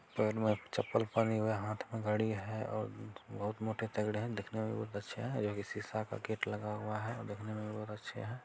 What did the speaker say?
पैर मे चप्पल पहने हुए हैं। हाथ में घड़ी है और बहोत मोटे तगड़े हैं। दिखने में बहोत अच्छे हैं जो शीशा का गेट लगा हुआ है। दिखने में भी बहोत अच्छे हैं।